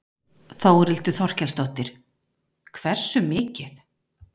Þórhildur Þorkelsdóttir: Hversu mikið?